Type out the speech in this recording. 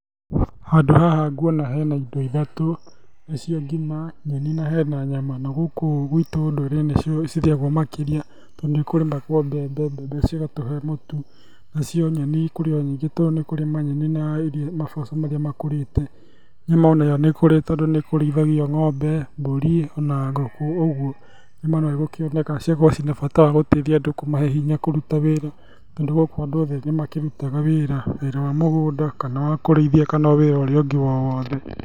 Handũ haha nguona hena indo ithatũ, nĩ cio ngima nyeni na hena nyama. Ona gũkũ guitũ ũndũire nĩ cio cirĩagwo makĩria. Tondũ nĩ kũrimagwo mbembe, mbembe cigatũhe mũtu, naci nyeni kũrĩ o nyingĩ tondũ ni kũrĩ manyeni na maboco marĩa makũrite. Nyama onayo nĩ kũrĩ tondũ ni kũrĩithagio ng'ombe mbũri ona ngũkũ, ũguo nyama no ĩgũkĩoneka. Cigakorwo cina bata wagũtethia andũ kũmahe hinya kũruta wĩra. Tondũ gũkũ andũ othe nĩ makĩrutaga wĩra, wĩra wa mũgũnda kana kũrĩithia kana wĩra ũrĩa ũngĩ wothe.